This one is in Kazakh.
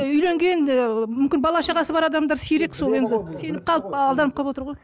үйленген ы мүмкін бала шағасы бар адамдар сирек сол енді сеніп қалып алданып қалып отыр ғой